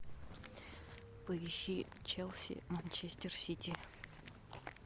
поищи челси манчестер сити